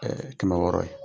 kɛmɛ wɔɔrɔ ye.